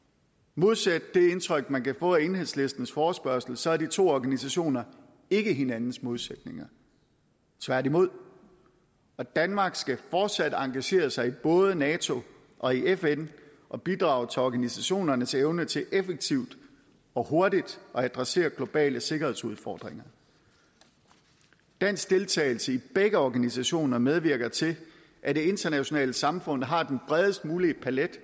modsat det indtryk man kan få af enhedslistens forespørgsel så er de to organisationer ikke hinandens modsætninger tværtimod og danmark skal fortsat engagere sig i både nato og fn og bidrage til organisationernes evne til effektivt og hurtigt at adressere globale sikkerhedsudfordringer dansk deltagelse i begge organisationer medvirker til at det internationale samfund har den bredest mulige palet